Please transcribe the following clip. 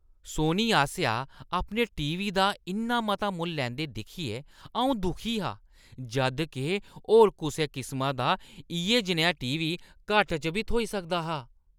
सोनी आसेआ अपने टीवी दा इन्ना मता मुल्ल लैंदे दिक्खियै अऊं दुखी हा जद् के होर कुसै किसमै दा इʼयै जनेहा टीवी घट्ट च बी थ्होई सकदा हा ।